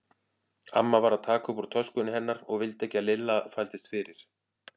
Amma var að taka upp úr töskunni hennar og vildi ekki að Lilla þvældist fyrir.